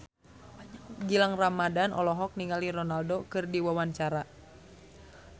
Gilang Ramadan olohok ningali Ronaldo keur diwawancara